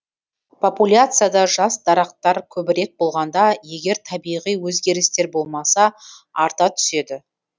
популяцияда жас дарақтар көбірек болғанда егер табиғи өзгерістер болмаса арта түседі